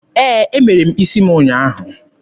Ee, Emere m isi m ụnyaahụ.